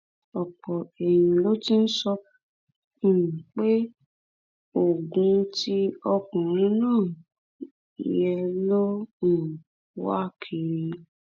ọpọ èèyàn ló ti ń sọ um pé ogún tí ọkùnrin náà yù jẹ ló ń um wá kiri